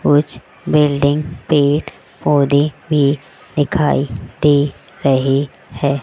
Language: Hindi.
कुछ बिल्डिंग पेड़ पौधे भी दिखाई दे रही है।